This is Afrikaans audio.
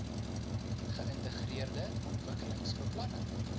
geïntegreerde ontwikkelings beplanning